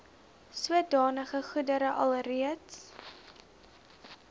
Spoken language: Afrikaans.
sodanige goedere alreeds